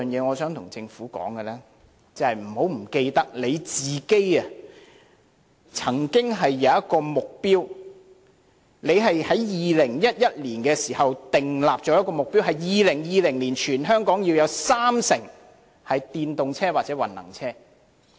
我想跟政府說的第三點是，請不要忘記政府曾有一個目標，政府在2011年時曾訂立一個目標：在2020年，全香港要有三成汽車是電動車或混能車。